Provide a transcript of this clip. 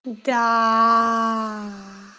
да